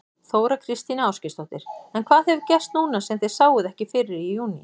Þóra Kristín Ásgeirsdóttir: En hvað hefur gerst núna sem þið sáuð ekki fyrir í júní?